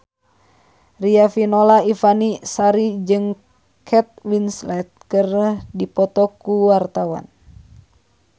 Riafinola Ifani Sari jeung Kate Winslet keur dipoto ku wartawan